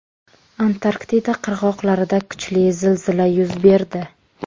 Antarktida qirg‘oqlarida kuchli zilzila yuz berdi.